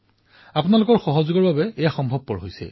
আৰু এয়া আপোনালোকৰ সহযোগিতাৰ ফলত সম্ভৱ হৈছে